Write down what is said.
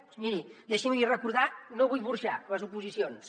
doncs miri deixi’m li recordar no vull burxar les oposicions